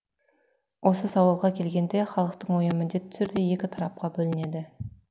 осы сауалға келгенде халықтың ойы міндетті түрде екі тарапқа бөлінеді